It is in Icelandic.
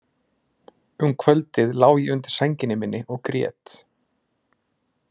Um kvöldið lá ég undir sænginni minni og grét.